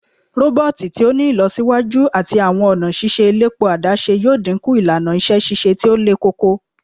Roboti to ti ni ilọsiwaju ati awọn ọna ṣiṣe elepo adaṣe yoo dinku ilana iṣẹ ṣiṣe ti o lekoko